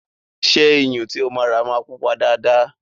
Ṣé Iyun tí o máa rà máa pupa dáadáa?